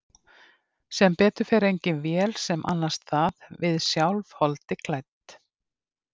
Sem betur fer engin vél sem annast það, við sjálf, holdi klædd.